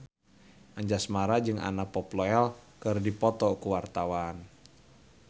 Anjasmara jeung Anna Popplewell keur dipoto ku wartawan